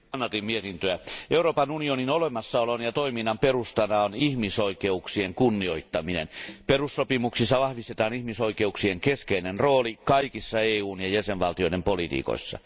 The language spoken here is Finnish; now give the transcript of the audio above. Arvoisa puhemies, kannatin mietintöä. Euroopan unionin olemassaolon ja toiminnan perustana on ihmisoikeuksien kunnioittaminen. Perussopimuksissa vahvistetaan ihmisoikeuksien keskeinen rooli kaikissa EUn ja jäsenvaltioiden politiikoissa.